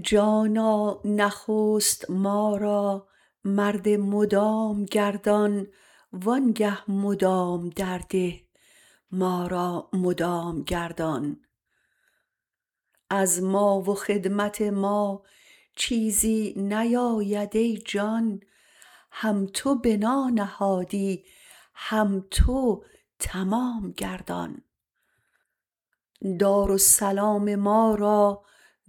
جانا نخست ما را مرد مدام گردان وآنگه مدام درده ما را مدام گردان از ما و خدمت ما چیزی نیاید ای جان هم تو بنا نهادی هم تو تمام گردان دارالسلام ما را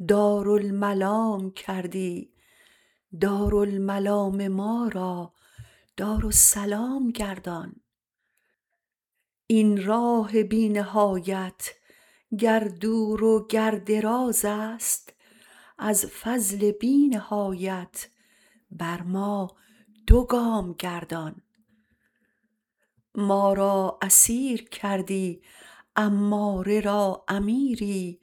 دارالملام کردی دارالملام ما را دارالسلام گردان این راه بی نهایت گر دور و گر دراز است از فضل بی نهایت بر ما دو گام گردان ما را اسیر کردی اماره را امیری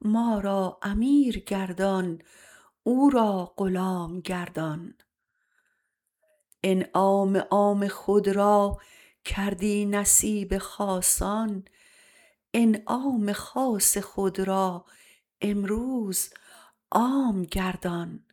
ما را امیر گردان او را غلام گردان انعام عام خود را کردی نصیب خاصان انعام خاص خود را امروز عام گردان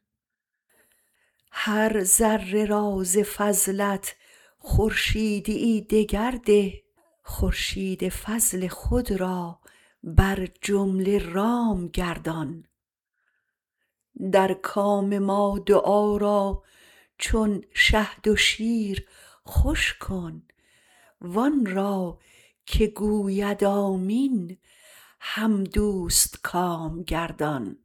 هر ذره را ز فضلت خورشیدییی دگر ده خورشید فضل خود را بر جمله رام گردان در کام ما دعا را چون شهد و شیر خوش کن و آن را که گوید آمین هم دوستکام گردان